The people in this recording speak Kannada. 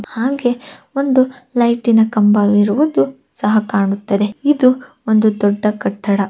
ಹಾಗೆ ಒಂದು ಲೈಟಿನ ಕಂಬ ಇರುವುದು ಸಹ ಕಾಣುತ್ತದೆ ಇದು ಒಂದು ದೊಡ್ಡ ಕಟ್ಟಡ